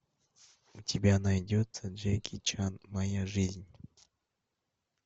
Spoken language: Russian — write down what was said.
у тебя найдется джеки чан моя жизнь